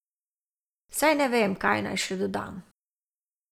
Saj ne vem, kaj naj še dodam.